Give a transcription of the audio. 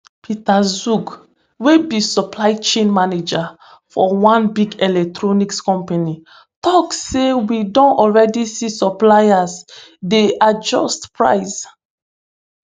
peter zhang wey be supply chain manager for one big electronics company tok say we don already see suppliers dey adjust price